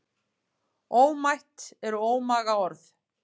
Ómætt eru ómaga orð.